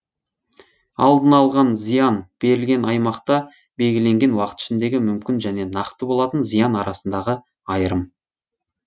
алдын алған зиян берілген аймақта белгіленген уақыт ішіндегі мүмкін және нақты болатын зиян арасындағы айырым